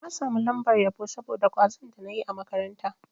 Na samu lambar yabo saboda kwazon da na yi a makaranta.